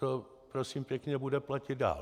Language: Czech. To prosím pěkně bude platit dál.